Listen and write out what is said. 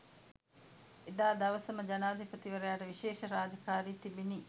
එදා දවසම ජනාධිපතිවරයාට විශේෂ රාජකාරි තිබිණි.